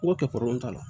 N ko kɛ t'a la